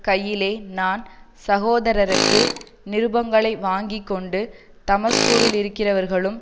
கையிலே நான் சகோதரருக்கு நிருபங்களை வாங்கி கொண்டு தமஸ்குவிலிருக்கிறவர்களும்